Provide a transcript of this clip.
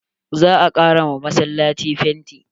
Za a ƙara wa massalaci fenti.